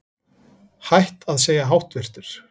Hætt að segja háttvirtur